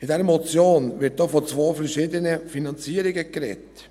In dieser Motion wird auch von zwei verschiedenen Finanzierungen gesprochen.